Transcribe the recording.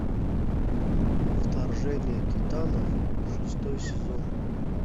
вторжение титанов шестой сезон